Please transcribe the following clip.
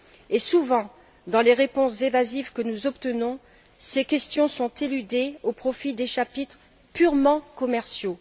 Et souvent, dans les réponses évasives que nous obtenons, ces questions sont éludées au profit des chapitres purement commerciaux.